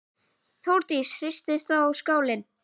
Þórdís: Hristist þá skálinn?